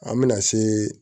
An bɛna se